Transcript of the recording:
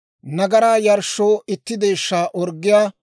nagaraa yarshshoo itti deeshshaa orggiyaa;